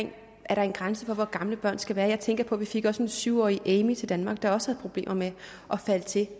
er en grænse for hvor gamle børn skal være jeg tænker på at vi fik en syv årig amy til danmark der også problemer med at falde til